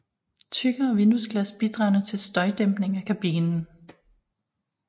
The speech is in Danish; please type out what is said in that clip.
Tykkere vinduesglas bidragede til støjdæmpning af kabinen